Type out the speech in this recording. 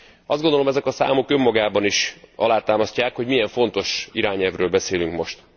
Azt gondolom, ezek a számok önmagukban is alátámasztják, hogy milyen fontos irányelvről beszélünk most.